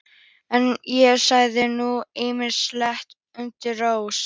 En ég sagði nú ýmislegt undir rós.